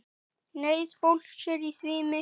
Neyð fólks er því mikil.